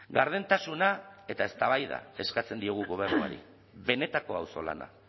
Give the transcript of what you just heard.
gardentasuna eta eztabaida eskatzen diogu gobernuari benetako auzolana